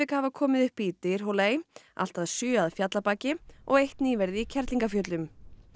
hafa komið upp í Dyrhólaey allt að sjö að Fjallabaki og eitt nýverið í Kerlingarfjöllum